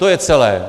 To je celé.